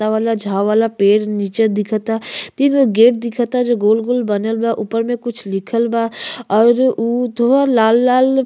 ला वाला झा वाला पेड़ नीचे दिखता। तीन गो गेट दिखता जो गोल गोल बनल बा। ऊपर में कुछ लिखल बा और उ थोआ लाल लाल --